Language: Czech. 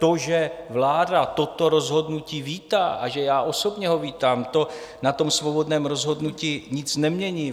To, že vláda toto rozhodnutí vítá a že já osobně ho vítám, to na tom svobodném rozhodnutí nic nemění.